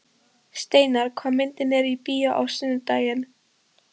Steinar, hvaða myndir eru í bíó á sunnudaginn?